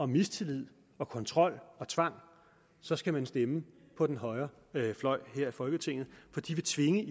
mistillid kontrol og tvang så skal man stemme på den højre fløj her i folketinget for de vil tvinge